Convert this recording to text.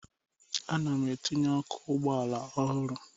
Ana m etinye ọkụ ụgbọala ọhụrụ